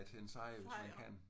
Fejr!